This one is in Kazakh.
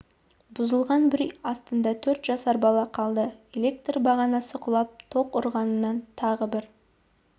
бұзылған бір үй астында төрт жасар бала қалды электр бағанасы құлап тоқ ұрғаннан тағы бір